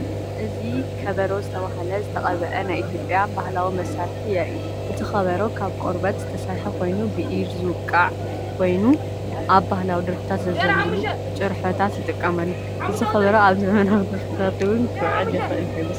እዚ “ከበሮ” ዝተባህለ ዝተቐብአ ናይ ኢትዮጵያ ባህላዊ መሳርሒ የርኢ። እቲ ከበሮ ካብ ቆርበት ዝተሰርሐ ኮይኑ፡ ብኢድ ዝውቃ" ኮይኑ፡ ኣብ ባህላዊ ደርፍታትን ዝዘንበሉ ጭርሖታትን ይጥቀመሉ። እዚ ከበሮ ኣብ ዘመናዊ ደርፍታት እውን ክውዕል ይኽእል ዶ ይመስለኩም?